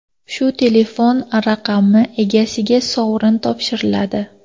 Shu telefon raqami egasiga sovrin topshiriladi.